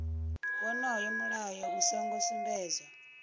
wonoyo mulayo u songo sumbedzwa